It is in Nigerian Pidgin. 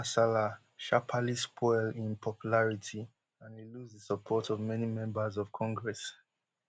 social kasala sharparly spoil im popularity and e lose di support of many members of congress